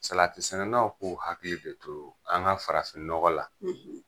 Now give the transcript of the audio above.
Salati sɛnɛnaw k'u hakili de too an ka farafin nɔgɔ la.